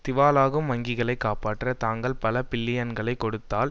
திவாலாகும் வங்கிகளை காப்பாற்ற தாங்கள் பல பில்லியன்களை கொடுத்தால்